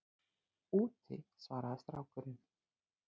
Úti- svaraði strákurinn.